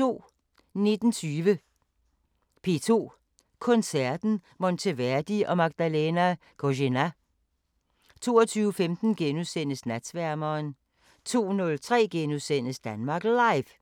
19:20: P2 Koncerten; Monteverdi og Magdelana Kozená 22:15: Natsværmeren * 02:03: Danmark Live *